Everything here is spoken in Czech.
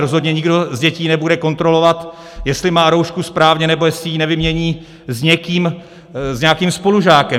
Rozhodně nikdo z dětí nebude kontrolovat, jestli má roušku správně nebo jestli ji nevymění s nějakým spolužákem.